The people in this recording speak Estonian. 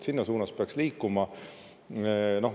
Selles suunas peaks liikuma.